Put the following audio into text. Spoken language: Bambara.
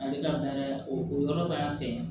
Ale ka baara ye o yɔrɔ b'a fɛ